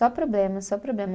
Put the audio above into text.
Só problema, só problema.